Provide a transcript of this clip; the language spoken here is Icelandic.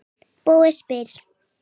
Búið spil.